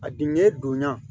A diɲɛ donna